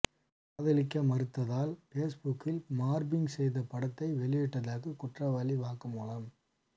காதலிக்க மறுத்ததால் பேஸ்புக்கில் மார்பிங் செய்த படத்தை வெளியிட்டதாக குற்றவாளி வாக்குமூலம்